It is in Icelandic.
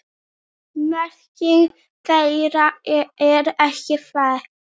Merking þeirra er ekki þekkt.